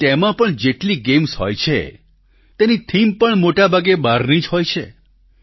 પરંતુ તેમાં પણ જેટલી ગેમ્સ હોય છે તેની થીમ પણ મોટાભાગે બહારની જ હોય છે